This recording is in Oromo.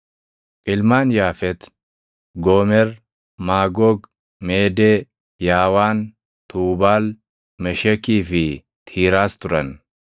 Ilmaan Yaafet: Goomer, Maagoog, Meedee, Yaawaan, Tuubaal, Meshekii fi Tiiraas turan.